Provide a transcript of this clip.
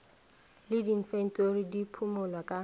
le diinfentori di phimolwa ka